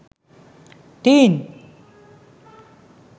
teen